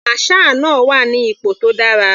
Masher náà wà ní ipò tó dára.